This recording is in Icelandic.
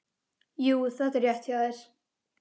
Jú, þetta er rétt hjá þér.